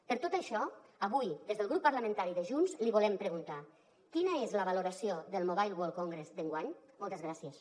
per tot això avui des del grup parlamentari de junts li volem preguntar quina és la valoració del mobile world congress d’enguany moltes gràcies